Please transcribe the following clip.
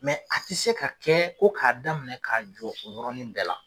a ti se ka kɛ ko ka daminɛ ka jɔ o yɔrɔnin bɛɛ la.